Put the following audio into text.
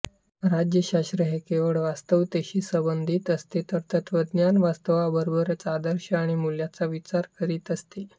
राज्यशास्त्र हे केवळ वास्तवतेशी संबंधित असते तर तत्त्वज्ञान वास्तवाबरोबरच आदर्श आणि मूल्यांचा विचार करीत असते